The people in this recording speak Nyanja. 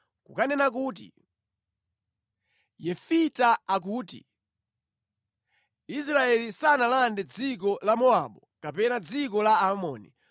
kukanena kuti, Yefita akuti, “Israeli sanalande dziko la Mowabu kapena dziko la Aamoni.